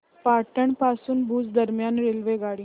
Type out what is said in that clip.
पाटण पासून भुज दरम्यान रेल्वेगाडी